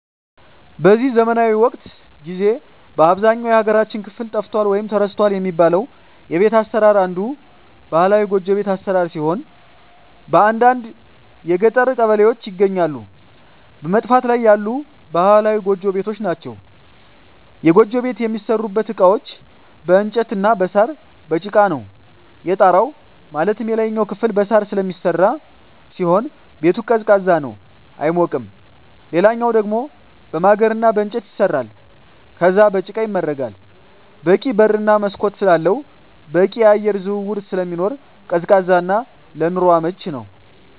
በዚህ ዘመናዊ ወቅት ጊዜ በአብዛኛው የሀገራችን ክፍል ጠፍቷል ወይም ተረስቷል የሚባለው የቤት አሰራር አንዱ ባህላዊ ጎጆ ቤት አሰራር ሲሆን በአንዳንድ የገጠር ቀበሌዎች ይገኛሉ በመጥፋት ላይ ያሉ ባህላዊ ጎጆ ቤቶች ናቸዉ። የጎጆ ቤት የሚሠሩበት እቃዎች በእንጨት እና በሳር፣ በጭቃ ነው። የጣራው ማለትም የላይኛው ክፍል በሳር ስለሚሰራ ሲሆን ቤቱ ቀዝቃዛ ነው አይሞቅም ሌላኛው ደሞ በማገር እና በእንጨት ይሰራል ከዛም በጭቃ ይመረጋል በቂ በር እና መስኮት ስላለው በቂ የአየር ዝውውር ስለሚኖር ቀዝቃዛ እና ለኑሮ አመቺ ነው።